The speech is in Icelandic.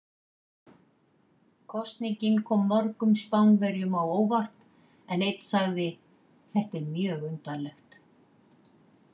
Kosningin kom mörgum Spánverjum á óvart en einn sagði: Þetta er mjög undarlegt.